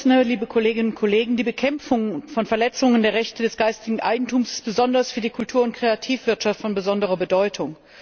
Herr Präsident, liebe Kolleginnen und Kollegen! Die Bekämpfung von Verletzungen der Rechte des geistigen Eigentums ist besonders für die Kultur und Kreativwirtschaft von besonderer Bedeutung.